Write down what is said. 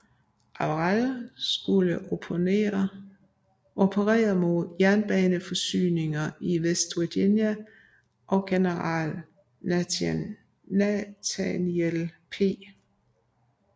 Averell skulle operere mod jernbaneforsyningslinjer i West Virginia og generalmajor Nathaniel P